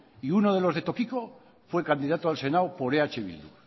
y uno de los de tokiko fue candidato al senado por eh bildu